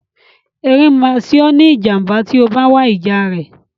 Erin máa ṣe ọ́ ní ìjàm̀bá tí o bá wá ìjà rẹ̀.